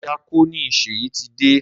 Díákónì Ṣèyí ti dé.